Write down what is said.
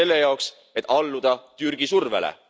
Selle jaoks, et alluda Türgi survele!